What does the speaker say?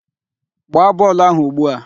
Gbaa bọọlụ áhụ̀ ugbu a!